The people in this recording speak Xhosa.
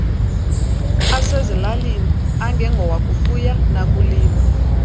asezilalini angengowakufuya nakulima